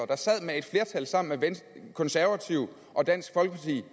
der sad med et flertal sammen med konservative og dansk folkeparti